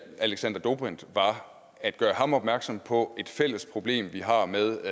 alexander dobrindt var at gøre ham opmærksom på et fælles problem vi har med